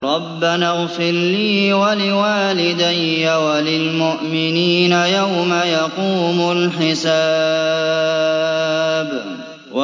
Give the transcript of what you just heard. رَبَّنَا اغْفِرْ لِي وَلِوَالِدَيَّ وَلِلْمُؤْمِنِينَ يَوْمَ يَقُومُ الْحِسَابُ